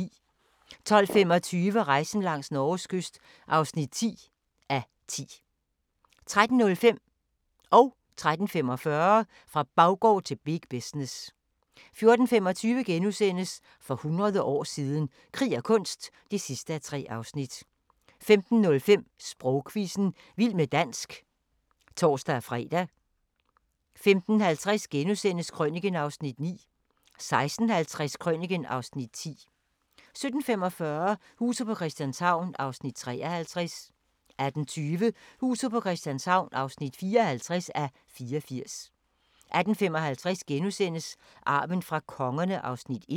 12:25: Rejsen langs Norges kyst (10:10) 13:05: Fra baggård til big business 13:45: Fra baggård til big business 14:25: For hundrede år siden – krig og kunst (3:3)* 15:05: Sprogquizzen – vild med dansk (tor-fre) 15:50: Krøniken (Afs. 9)* 16:50: Krøniken (Afs. 10) 17:45: Huset på Christianshavn (53:84) 18:20: Huset på Christianshavn (54:84) 18:55: Arven fra kongerne (1:6)*